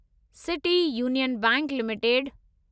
city Union Bank limited